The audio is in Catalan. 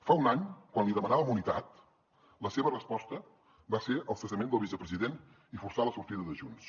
fa un any quan li demanàvem unitat la seva resposta va ser el cessament del vicepresident i forçar la sortida de junts